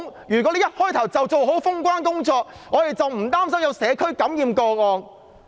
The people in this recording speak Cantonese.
如果一開始她便做好封關的工作，我們便無須擔心出現社區感染個案。